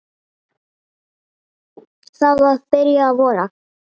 Það var byrjað að vora.